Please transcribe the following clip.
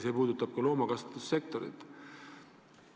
See puudutab ka loomakasvatussektorit.